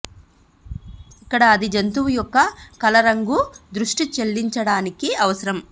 ఇక్కడ అది జంతువు యొక్క కల రంగు దృష్టి చెల్లించటానికి అవసరం